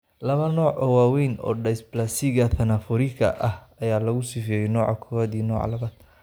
Laba nooc oo waaweyn oo dysplasiga thanatophorika ah ayaa lagu sifeeyay, nooca kowaaad iyo nooca labaad.